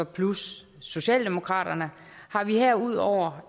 plus socialdemokraterne har vi herudover